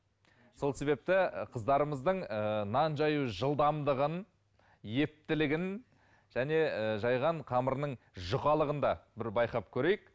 сол себепті қыздарымыздың ыыы нан жаю жылдамдығын ептілігін және ііі жайған қамырының жұқалығын да бір байқап көрейік